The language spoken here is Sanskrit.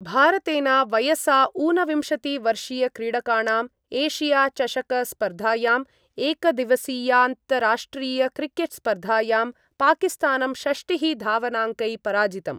भारतेन वयसा ऊनविंशतिवर्षीयक्रीडकाणां एशियाचषकस्पर्धायां एकदिवसीयान्तराष्ट्रियक्रिकेट् स्पर्धायां पाकिस्तानं षष्टिः धावनांकै पराजितम्।